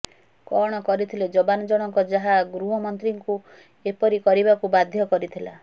କଣ କରିଥିଲେ ଯବାନ୍ ଜଣକ ଯାହା ଗୃହମନ୍ତ୍ରୀଙ୍କୁ ଏପରି କରିବାକୁ ବାଧ୍ୟ କରିଥିଲା